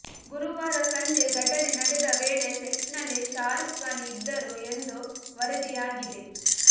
ಗುರುವಾರ ಸಂಜೆ ಘಟನೆ ನಡೆದ ವೇಳೆ ಸೆಟ್ ನಲ್ಲಿ ಶಾರುಕ್ ಖಾನ್ ಇದ್ದರು ಎಂದು ವರದಿ ಆಗಿದೆ